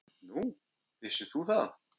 Nú, vissir þú það?